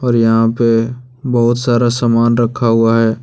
और यहां पे बहुत सारा सामान रखा हुआ है।